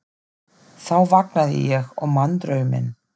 Þá vaknaði ég og man drauminn.